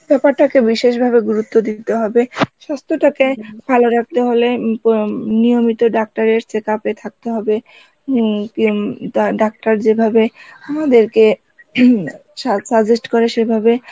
ব্যাপারটাকে বিশেষভাবে গুরুত্ব দিতে হবে স্বাস্থ্য টাকে ভালো রাখতে হলে কম~ নিয়ে নিয়মিত ডাক্তারের check up এ থাকতে হবে উম উম ডাক্তার যেভাবে আমাদেরকে suggest করে সেভাবে